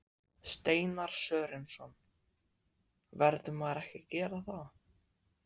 Steinar Sörensson: Verður maður ekki að gera það?